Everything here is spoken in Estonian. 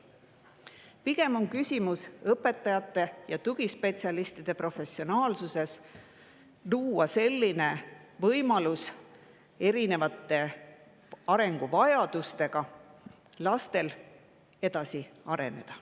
Pigem on küsimus õpetajate ja tugispetsialistide professionaalsuses luua võimalused, et erineva arenguvajadusega lapsed saaksid edasi areneda.